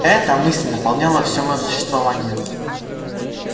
эта мысль наполняла всё моё существование